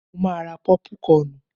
Mo ma ra pọ́púkọnù.